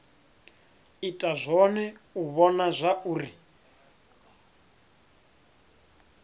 ita zwone u vhona zwauri